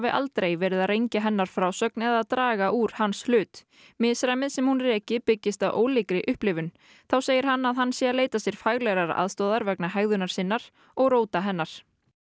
aldrei verið að rengja hennar frásögn eða draga úr hans hlut misræmið sem hún reki byggist á ólíkri upplifun þá segir hann að hann sé að leita sér faglegrar aðstoðar vegna hegðunar sinnar og róta hennar